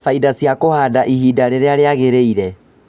Baita cia kũhanda ihinda rĩrĩa rĩagĩrĩire